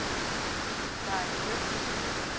Karin Kjøller